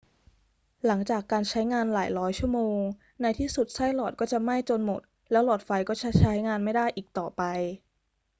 หลังจากการใช้งานหลายร้อยชั่วโมง ในที่สุดไส้หลอดก็จะไหม้จนหมด แล้วหลอดไฟก็จะใช้งานไม่ได้อีกต่อไป